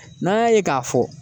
N'an y'a ye k'a fɔ